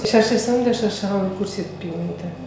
шаршасам да шаршағанымды көрсетпеймін мүлде